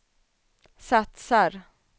satsar